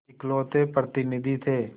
इकलौते प्रतिनिधि थे